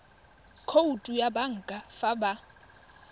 khoutu ya banka fa ba